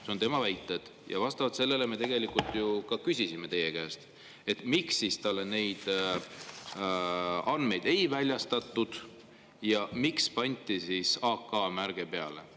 See on tema väide ja vastavalt sellele me ka küsisime teie käest, miks talle neid andmeid ei väljastatud ja miks pandi AK-märge peale.